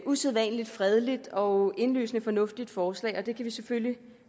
usædvanlig fredeligt og indlysende fornuftigt forslag og det kan vi selvfølgelig